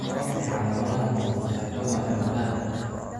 Waa maxay calaamadaha iyo calaamadaha mastocytoma ee maqaarka?